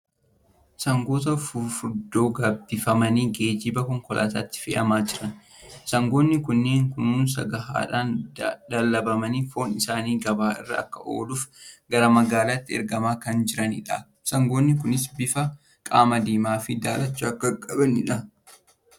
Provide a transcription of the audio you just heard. Sangoota fufurdoo gabbifamanii geejjiba konkolaataatti fe'amaa jiran. Sangoonni kunneen kunuunsa gahaadhaan dallabamanii foon isaanii gabaa irra akka ooluuf gara magaalaatti ergamaa kan jiranidha. Sangoonni kunis bifa qaamaa diimaa fi daalacha kan qabanidha.